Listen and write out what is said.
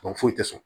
foyi tɛ sɔn